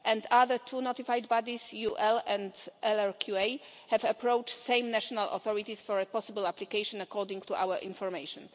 The two other notified bodies UL and LRQA have approached the same national authorities for a possible application, according to our information.